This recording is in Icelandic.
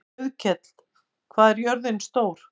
Auðkell, hvað er jörðin stór?